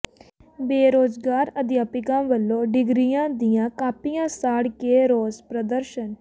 ਬੇਰੁਜ਼ਗਾਰ ਅਧਿਆਪਕਾਂ ਵਲੋਂ ਡਿਗਰੀਆਂ ਦੀਆਂ ਕਾਪੀਆਂ ਸਾੜ ਕੇ ਰੋਸ ਪ੍ਰਦਰਸ਼ਨ